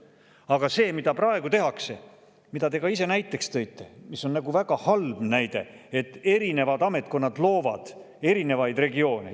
Aga praegu tehakse seda, mida te ka ise näiteks tõite ja mis on väga halb näide, et erinevad ametkonnad loovad erinevaid regioone.